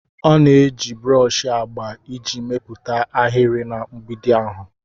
Ọ na-eji broshi agba iji mepụta ahịrị na mgbidi ahụ.